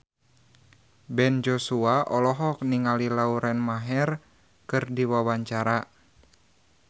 Ben Joshua olohok ningali Lauren Maher keur diwawancara